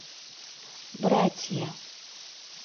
братья